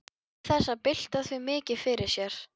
Og án þess að bylta því mikið fyrir sér.